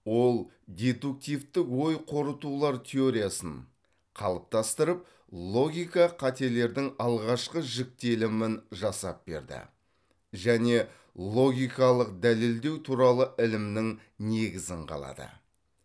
ол дедуктивтік ой қорытулар теориясын қалыптастырып логика қателердің алғашқы жіктелімін жасап берді және логикалық дәлелдеу туралы ілімнің негізін қалады